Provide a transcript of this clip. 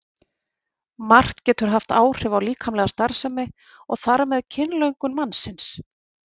Margt getur haft áhrif á líkamlega starfsemi og þar með kynlöngun mannsins.